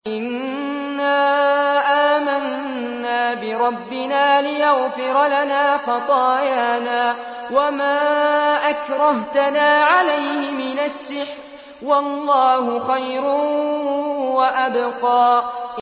إِنَّا آمَنَّا بِرَبِّنَا لِيَغْفِرَ لَنَا خَطَايَانَا وَمَا أَكْرَهْتَنَا عَلَيْهِ مِنَ السِّحْرِ ۗ وَاللَّهُ خَيْرٌ وَأَبْقَىٰ